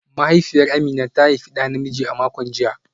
Mahaifiyar Amina ta haifi da namiji a makon jiya